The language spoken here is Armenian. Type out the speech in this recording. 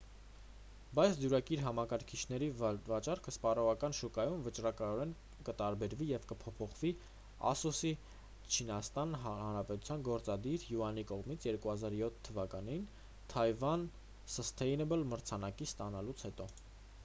բայց դյուրակիր համակարգիչների վաճառքը սպառողական շուկայում վճռականորեն կտարբերվի և կփոփոխվի ասուս-ի չինաստանի հանրապետության գործադիր յուանի կողմից 2007 թվականին թայվան սըստեյնըբլ մրցանակը ստանալուց հետո